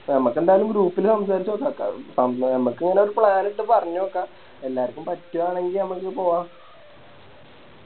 ഞമക്കെന്തായാലും Group ല് സംസാരിച്ച് നോക്ക നമക്ക് ഇങ്ങനെ Plan ഇട്ട് പറഞ്ഞ് നോക്ക എല്ലാർക്കും പറ്റുമാണെങ്കി മ്മക്ക് പോവാ